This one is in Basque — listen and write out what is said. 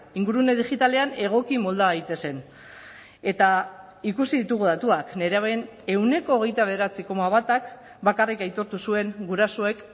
ingurune digitalean egoki molda daitezen eta ikusi ditugu datuak nerabeen ehuneko hogeita bederatzi koma batak bakarrik aitortu zuen gurasoek